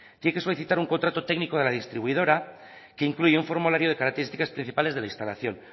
tiene que solicitar un contrato técnico de la distribuidora que incluye un formulario de características principales de la instalación